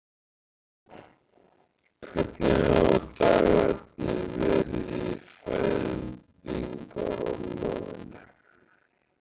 Hvernig hafa dagarnir verið í fæðingarorlofinu?